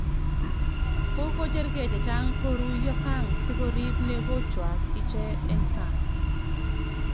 Kokocherkei chechang kuruio sang sikorip negochwak iche eng sang.